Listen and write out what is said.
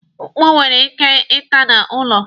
Mkpu nwere ike ị tada ụlọ.